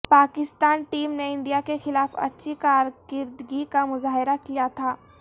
Pakistan team نے India کے خلاف اچھی کارکردگی کا مظاہرہ کیا تھا